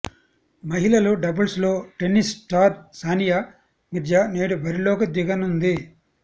మహిళల డబుల్స్లో tennis star Sania Mirza నేడు బరిలోకి దిగనుంది